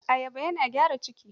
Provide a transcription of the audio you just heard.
Ayaba yana gyara ciki.